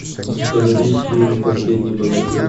установи фильм последний богатырь